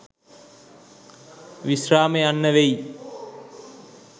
විශ්‍රාම යන්න වෙයි.